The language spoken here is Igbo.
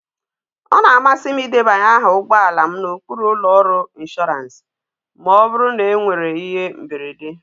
Ọ na-amasị m ịdebanye aha ụgbọ ala m n'okpuru ụlọ ọrụ inshọransị ma ọ bụrụ na enwere ihe mberede